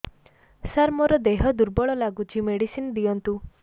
ସାର ମୋର ଦେହ ଦୁର୍ବଳ ଲାଗୁଚି ମେଡିସିନ ଦିଅନ୍ତୁ